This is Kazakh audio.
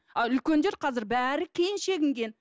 а үлкендер қазір бәрі кейін шегінген